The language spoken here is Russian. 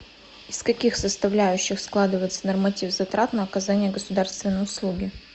из каких составляющих складывается норматив затрат на оказание государственной услуги